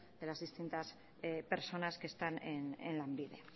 de las distintas personas que están en lanbide en